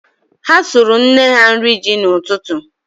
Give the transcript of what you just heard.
Ha sụrụ nna ha nri ji n'ụtụtụ.